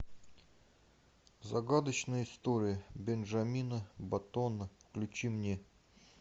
загадочная история бенджамина баттона включи мне